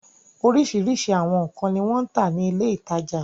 Oríṣiríṣi àwọn nǹkan ni wọ́n ń tà ní ilé-ìtajà.